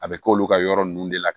A bɛ k'olu ka yɔrɔ ninnu de la